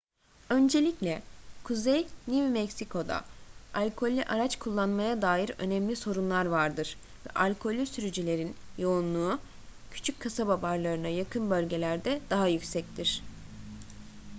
öncelikle kuzey new mexico'da alkollü araç kullanmaya dair önemli sorunlar vardır ve alkollü sürücülerin yoğunluğu küçük kasaba barlarına yakın bölgelerde daha yüksektir